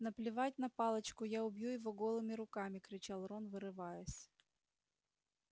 наплевать на палочку я убью его голыми руками кричал рон вырываясь